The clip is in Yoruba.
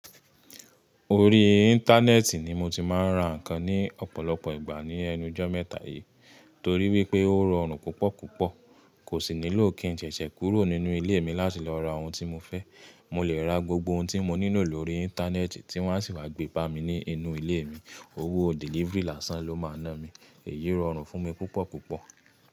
Orí Íńtánẹ́ẹ̀tì ni mo ti máa ń ra ǹkan ní ọ̀pọ̀lọpọ̀ ìgbà ní ẹnu jọ́ mẹ́ta yìí torí wípé ó rọrùn púpọ̀púpọ̀. Kò sì nílò kí n ṣẹ̀ṣẹ̀ kúrò nínú ilé mi láti lọ ra ohun tí mo fẹ́. Mo lè ra gbogbo ohun tí mo nílò lórí Íńtánẹ́ẹ̀tì tí wọ́n á sì wá gbé bá mi ní inú ilé mi. Owó delivery làsán ló máa ná mi. Èyí rọrùn fún mi púpọ̀púpọ̀.